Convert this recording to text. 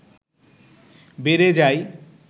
বেড়ে যায়